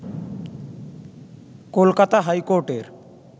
কলকাতা হাইকোর্টের